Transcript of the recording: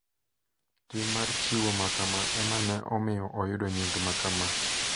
Tim mar chiwo makama ema ne omiyo oyudo nying makama.